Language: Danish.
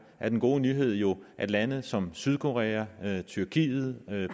er den gode nyhed jo at lande som sydkorea tyrkiet